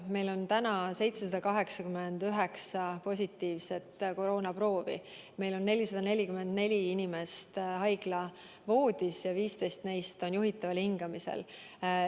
Meile teatati täna 789 positiivsest koroonaproovist, meil on 444 inimest haiglavoodis ja 15 neist on juhitaval hingamisel.